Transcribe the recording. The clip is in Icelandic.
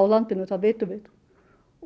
í landinu það vitum við